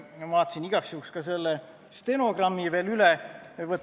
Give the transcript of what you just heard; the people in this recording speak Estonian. Ma vaatasin igaks juhuks ka selle stenogrammi veel üle.